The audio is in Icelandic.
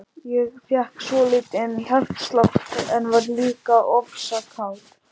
Ég fékk svolítinn hjartslátt, en varð líka ofsa kát.